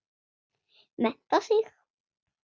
Mennta sig.